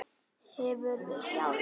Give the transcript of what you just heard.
Hefurðu sjálf?